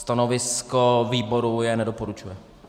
Stanovisko výboru je nedoporučuje.